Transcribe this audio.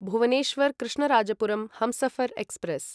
Bhubaneswar Krishnarajapuram Humsafar express